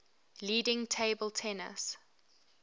leading table tennis